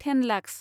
ten lakhs